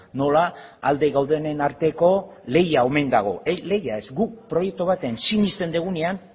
nola alde gaudenen arteko leia omen dago leia ez guk proiektu baten sinesten dugunean